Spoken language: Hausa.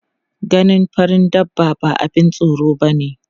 Ganin farin dabba ba abun tsoro bane.